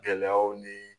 Gɛlɛyaw nii